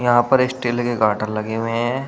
यहां पर स्टील के गाटर लगे हुए हैं।